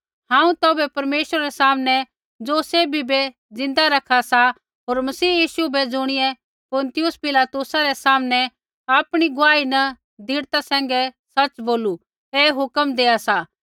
हांऊँ तौभै परमेश्वरा रै सामनै ज़ो सैभी बै ज़िन्दा रखा सा होर मसीह यीशु बै ज़ुणियै पुन्तियुस पिलातुसा रै सामनै आपणी गुआही न दृढ़ता सैंघै सच़ बोलू ऐ हुक्म देआ सा